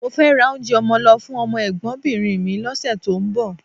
Mo fẹ́ ra oúnjẹ ọmọ lọ fún ọmọ ẹ̀gbọ́nbìnrin mi lọ́sẹ̀ tó ń bọ̀